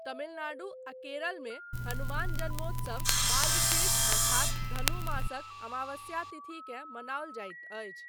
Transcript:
तमिलनाडु आ केरल मे हनुमान जन्मोत्सव मार्गशीर्ष अर्थात धनु मासक अमावस्या तिथिकेँ मनाओल जाइत अछि।